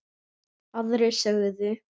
Aðrir sögðu